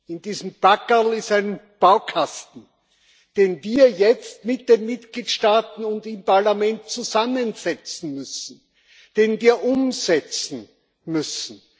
In diesem Packerl ist ein Baukasten, den wir jetzt mit den Mitgliedstaaten und im Parlament zusammensetzen müssen, den wir umsetzen müssen.